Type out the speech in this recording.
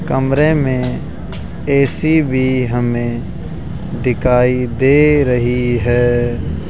कमरे में ए_सी भी हमें दिखाई दे रही है।